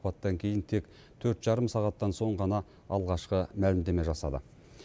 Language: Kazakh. апаттан кейін тек төрт жарым сағаттан соң ғана алғашқы мәлімдеме жасады